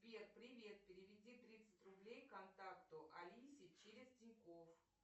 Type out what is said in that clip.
сбер привет переведи тридцать рублей контакту алисе через тинькофф